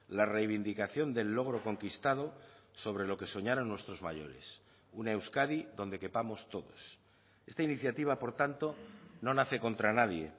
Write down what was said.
la reivindicación del logro conquistado sobre lo que soñaron nuestros mayores una euskadi donde quepamos todos esta iniciativa por tanto no nace contra nadie